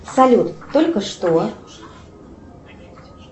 салют только что